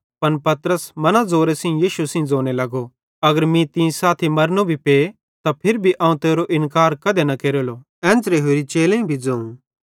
पन पतरसे मना ज़ोरे सेइं यीशु सेइं ज़ोने लगो अगर मीं तीं सेइं साथी मरनू भी पे त फिरी भी अवं तेरो इन्कार कधी न केरलो एन्च़रां होरि चेलेईं भी ज़ोवं